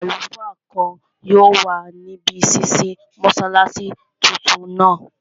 Àwọn àlùfáà kan yóò wà níbi ṣísí mọ́sálásí tuntun náà